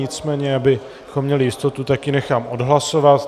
Nicméně abychom měli jistotu, tak ji nechám odhlasovat.